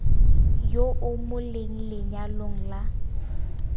yo o mo lenyalong la